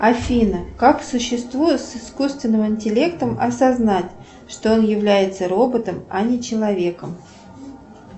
афина как существу с искусственным интеллектом осознать что он является роботом а не человеком